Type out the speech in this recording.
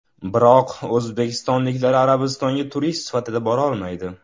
Biroq o‘zbekistonliklar Arabistonga turist sifatida borolmaydi.